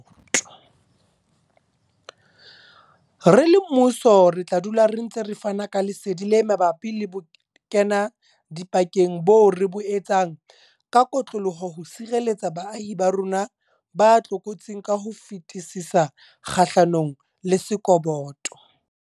Re le mmuso re tla dula re ntse re fana ka lesedi le mabapi le bokenadipakeng boo re bo etsang ka kotloloho ho sireletsa baahi ba bo rona ba tlokotsing ka ho fetisisa kgahlanong le sekoboto.